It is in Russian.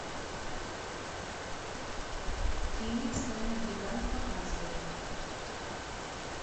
фильмик стальной гигант показывай